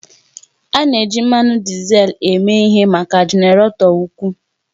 A na-eji mmanụ dizel eme ihe maka jenaratọ ukwuu